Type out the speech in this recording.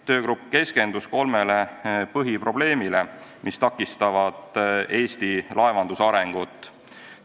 Töögrupp keskendus kolmele põhiprobleemile, mis takistavad Eesti laevanduse arengut.